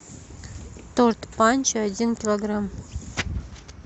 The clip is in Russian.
торт панчо один килограмм